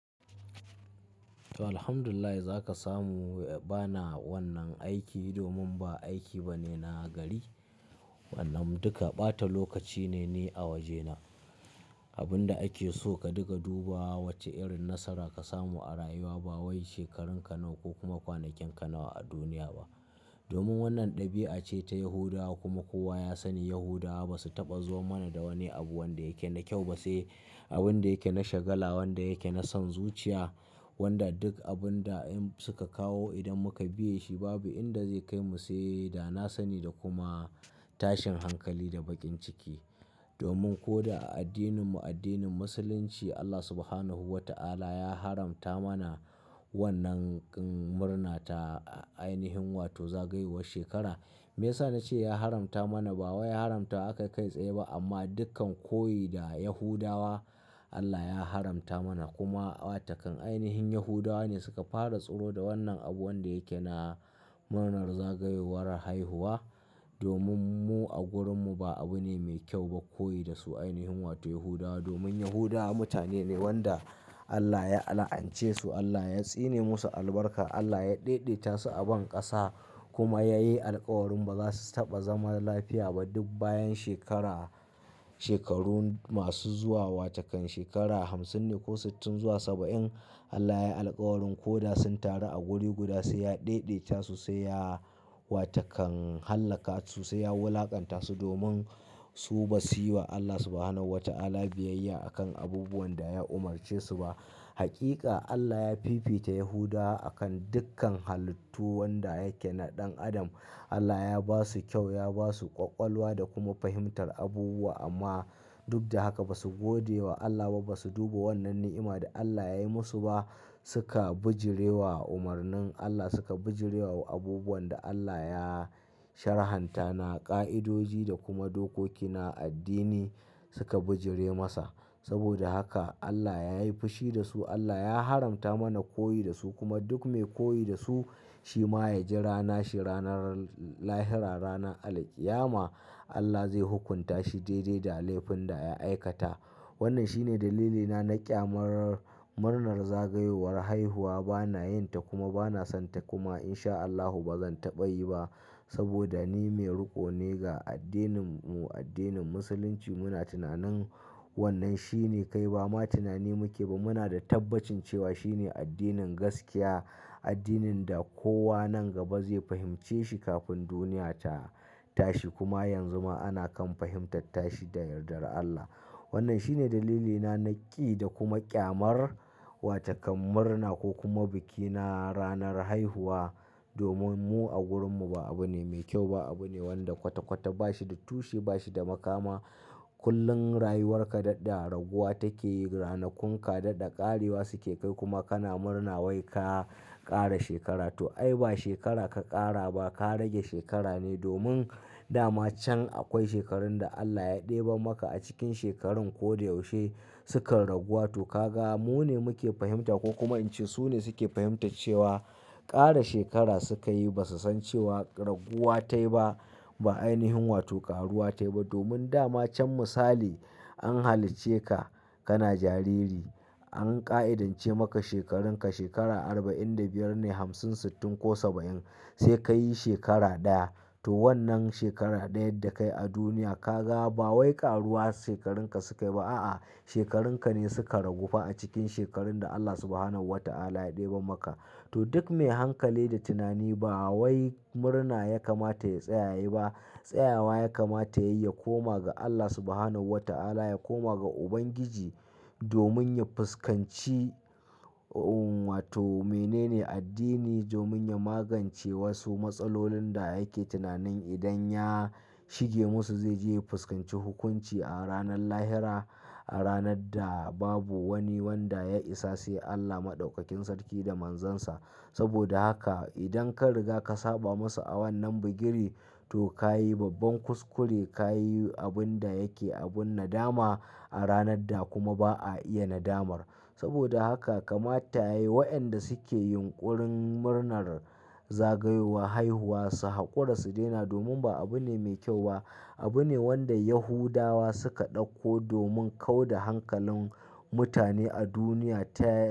To, Alhamdulillah za ka samu. Ba na wannan aiki domin ba aiki ba ne na gari, wannan duka ɓata lokaci ne ni a wajena. Abin da ake so ka dinga duba wace irin nasara ka samu a rayuwa ba wai shekarunka nawa ko kuma kwanakenka nawa a duniya ba. Domin wannan ɗabi'a ce ta Yahudawa kuma kowa ya sani Yahudawa ba su taɓa zo mana da wani abu wanda yake na kyau ba, sai abin da yake na shagala, wanda yake na son zuciya, wanda duk abin da in suka kawo idan muka biya shi babu inda zai kai mu sai da na sani da kuma tashin hankali da baƙin ciki. Domin ko da a addininmu, addinin Musulunci, Allah Subhanahu wa ta'ala ya haramta mana wannan murna ta anihin wato zagayowar shekara. Me yasa na ce ya haramta mana? Ba wai ya haramta aka kai tsaye ba amma dukkan koyi da Yahudawa Allah ya haramta mana kuma wa takan ainihin Yahudawa ne suka fara tsoro da wannan abu wanda yake na murnar zagayowar haihuwa. Domin mu a wurinmu ba abu ne mai kyau ba koyi da su ainihin wato Yahudawa. Domin Yahudawa mutane ne wanda Allah ya la'ance su, Allah ya tsine musu albarka, Allah ya ɗaidaita su a banƙasa kuma yayi alkawarin ba za su taɓa zama lafiya ba duk bayan shekara, shekaru masu zuwa wa takan shekara hamsin ne ko sittin zuwa saba'in. Allah yayi alkawarin ko da sun taru a guri guda sai ya ɗede ta su, sai ya wa takan hallaka su, sai ya wulaƙanta su domin su ba su yi wa Allah subhanahu wa ta'ala biyayya a kan abubuwan da ya umarce su ba. Hakika Allah ya fifita Yahudawa a kan dukkan halittu wanda yake na ɗan adam. Allah ya ba su kyau, ya ba su ƙwaƙwalwa da kuma fahimtar abubuwa amma duk da haka ba su gode wa Allah ba, ba su duba wannan ni'ima da Allah ya yi musu ba. Suka bijire wa umarnin Allah, suka bijire wa abubuwan da Allah ya sharhanta na ƙa'idoji da kuma dokoki na addini suka bijire masa. Saboda haka Allah ya yi fushi da su, Allah ya haramta mana koyi da su kuma duk mai koyi da su shi ma ya ji rana shi ranar lahira, ranar alqiyama Allah zai hukunta shi daidai da laifin da ya aikata. Wannan shine dalilina na ƙyamar murnar zagayowar haihuwa. Ba na yin ta kuma ba na son ta kuma in sha Allahu ba zan taɓa yi ba saboda ni mai riko ne ga addininmu, addinin Musulunci. Muna tunanin wannan shine kai ba ma tunani muke ba muna da tabbacin cewa shi ne addinin gaskiya, addinin da kowa nan gaba zai fahimce shi kafin duniya ta tashi kuma yanzu ma ana kan fahimtata shi da yardar Allah. Wannan shine dalilina na ƙi da kuma ƙyamar wa takan murna ko kuma biki na ranar haihuwa. Domin mu a wurinmu ba abu ne mai kyau ba, abu ne wanda kwata-kwata ba shi da tushe, ba shi da makama. Kullum rayuwarka daɗe a raguwa take yi, ranakunka daɗe a ƙarewa suke kai kuma kana murna wai ka ƙara shekara. To ai ba shekara ka ƙare ba, ka rage shekara ne domin dama can akwai shekarun da Allah ya ɗebe maka a cikin shekarun ko da yaushe sukan raguwa. To ka ga mu ne muke fahimta ko kuma in ce su ne suke fahimtar cewa ƙare shekara suka yi ba su san cewa raguwa ta yi ba, ba ainihin wato ƙaruwa ta yi ba. Domin dama can misali an halice ka, kana jariri an ƙa'idance maka shekarunka shekara arba'in da biyar ne, hamsin, sittin ko saba'in sai ka yi shekara ɗaya. To wannan shekara ɗaya da ka yi a duniya ka ga ba wai ƙaruwa shekarunka suke ba a'a, shekarunka ne suka ragu fa a cikin shekarun da Allah subhanahu wa ta'ala ya ɗebe maka. To duk mai hankali da tunani ba wai murna ya kamata ya tsaya yi ba. Tsayawa ya kamata ya yi, ya koma ga Allah subhanahu wa ta'ala, ya koma ga Ubangiji domin ya fuskanci, wato menene addini domin ya magance wasu matsalolin da yake tunanin idan ya shige musu zai je ya fuskanci hukunci a ranar lahira, a ranar da babu wani wanda ya isa sai Allah Maɗaukakin Sarki da Manzansa. Saboda haka idan ka riga ka saba masa a wannan bugiri to ka yi babban kuskure, ka yi abin da yake abin nadama a ranar da kuma ba a iya nadamar. Saboda haka kamata ya yi wa'yanda suke yunƙurin murnar zagayowa haihuwa su haƙura su daina domin ba abu ne mai kyau ba. Abu ne wanda Yahudawa suka ɗauko domin kau da hankalin mutane a duniya ta.